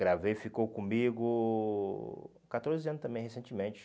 Gravei, ficou comigo catorze anos também, recentemente.